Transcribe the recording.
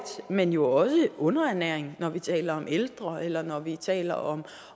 men jo også underernæring når vi taler om ældre eller når vi taler om